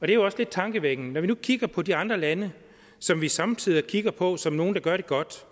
jo også lidt tankevækkende når vi nu kigger på de andre lande som vi somme tider kigger på som nogle der gør det godt